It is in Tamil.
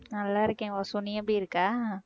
நல்லா இருக்கேன் வாசு நீ எப்படி இருக்க